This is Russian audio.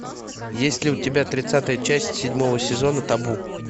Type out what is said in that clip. есть ли у тебя тридцатая часть седьмого сезона табу